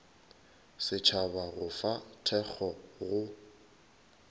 setšhaba go fa thekgo go